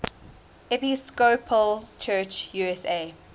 episcopal church usa